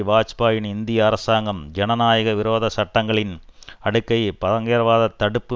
வாஜ்பாயியின் இந்திய அரசாங்கம் ஜனநாயக விரோத சட்டங்களின் அடுக்கை பயங்கரவாதத் தடுப்பு